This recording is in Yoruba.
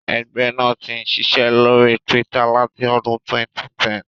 Ẹgbẹ́ náà ti ń ṣiṣẹ́ lórí Twitter láti ọdún 2010.